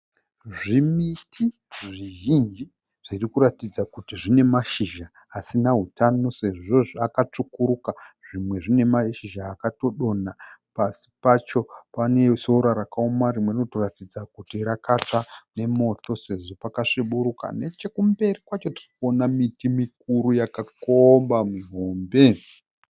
Zvimiti zvizhinji zvirikuratidza kuti zvine mashizha asina hutano Sezvo zvakatsvukuruka . Zvimwe zvine mashizha akatodonha pasi pacho pane sora rakaoma rimwe rinotoratidza kuti rakatsva nemoto sezvo pakasviburuka. Nechekumberi kwacho tirikuona miti mikuru yakakomba mihombe.